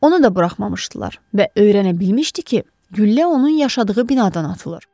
Onu da buraxmamışdılar və öyrənə bilmişdi ki, güllə onun yaşadığı binadan atılır.